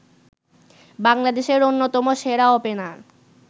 বাংলাদেশের অন্যতম সেরা ওপেনার